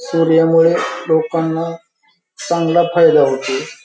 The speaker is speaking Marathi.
सूर्यामुळे लोकांना चांगला फायदा होतो.